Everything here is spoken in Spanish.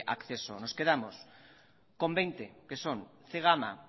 acceso nos quedamos con veinte que son zegama